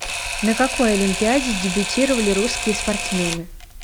на какой олимпиаде дебютировали русские спортсмены